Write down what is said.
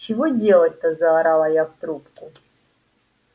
чего делать-то заорала я в трубку